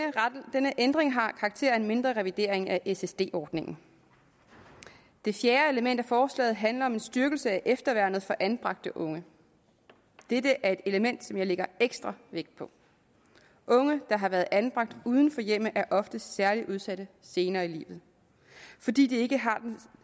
denne ændring har karakter af en mindre revidering af ssd ordningen det fjerde element af forslaget handler om en styrkelse af efterværnet for anbragte unge dette er et element som jeg lægger ekstra vægt på unge der har været anbragt uden for hjemmet er ofte særlig udsatte senere i livet fordi de ikke har den